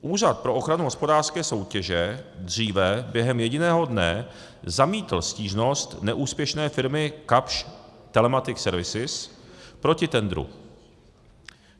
Úřad pro ochranu hospodářské soutěže dříve během jediného dne zamítl stížnost neúspěšné firmy Kapsch Telematic Services proti tendru.